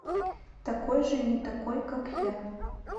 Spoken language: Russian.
такой же не такой как я